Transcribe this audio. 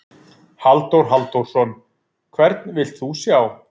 Halldór Halldórsson: Hvern vilt þú sjá?